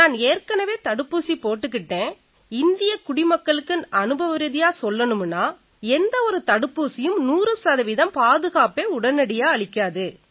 நான் ஏற்கெனவே தடுப்பூசி போட்டுக்கிட்டேன் இந்தியக் குடிமக்களுக்கு நான் அனுபவரீதியா சொல்லணும்னா எந்த ஒரு தடுப்பூசியும் 100 சதவீதம் பாதுகாப்பை உடனடியா அளிக்காது